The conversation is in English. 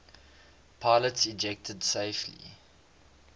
pilots ejected safely